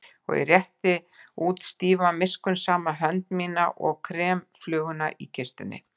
Og ég rétti út stífa miskunnsama hönd mína og krem fluguna í kistunni.